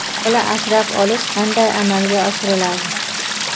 Bola asrab olish qanday amalga oshiriladi?